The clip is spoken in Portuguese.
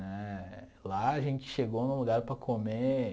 Né, lá a gente chegou num lugar para comer,